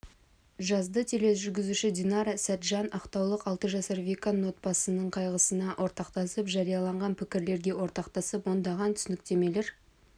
жазды тележүргізуші динара сәтжан ақтаулық алты жасар виканың отбасының қайғысына ортақтасып жарияланған пікірлерге ортақтасып ондаған түсініктемелер